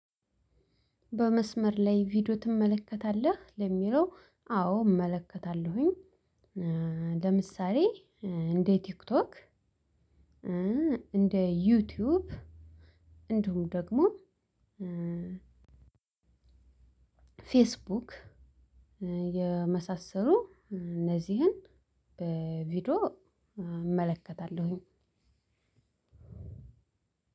በመስመር ላይ ቪዲዮ ትመለከታለህ? ለሚለው አዎ እመለከታለሁኝ። ለምሳሌ እንደ ቲክቶክ እንደ ዩቲዩብ እንዲሁም ደግሞ ፌስቡክ የመሳሰሉ እነዚህን በቪዲዮ እመለከታለሁኝ።